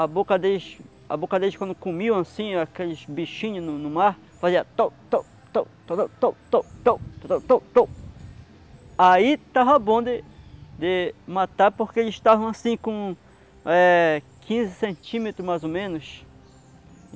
A boca deles a boca deles, quando comiam, assim, aqueles bichinhos no mar, fazia tou tou tou torou tou tou tou tou tou tou. Aí estava bom de de matar, porque eles estavam, assim, com eh quinze centímetros, mais ou menos.